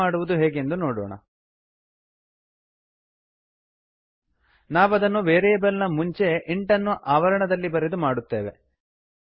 ಹಾಗೆ ಮಾಡುವುದು ಹೇಗೆಂದು ನೋಡೋಣ ನಾವದನ್ನು ವೇರಿಯೇಬಲ್ ನ ಮುಂಚೆ ಇಂಟ್ ಇಂಟ್ಅನ್ನು ಆವರಣದಲ್ಲಿ ಬರೆದು ಮಾಡುತ್ತೇವೆ